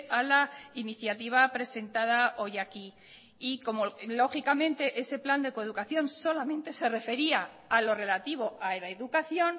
a la iniciativa presentada hoy aquí y como lógicamente ese plan de coeducación solamente se refería a lo relativo a la educación